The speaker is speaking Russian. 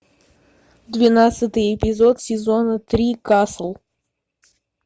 двенадцатый эпизод сезона три касл